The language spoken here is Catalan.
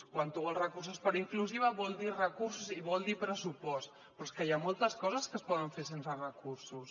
quan tu vols recursos per a inclusiva vol dir recursos i vol dir pressupost però és que hi ha moltes coses que es poden fer sense recursos